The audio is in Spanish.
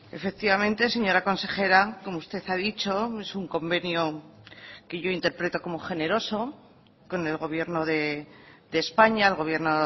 efectivamente señora consejera como usted ha dicho es un convenio que yo interpreto como generoso con el gobierno de españa el gobierno